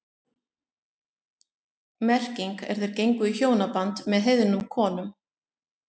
Merkingin er þeir gengu í hjónaband með heiðnum konum.